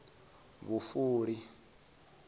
vhufuli